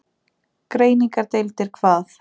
Greiningardeildir hvað?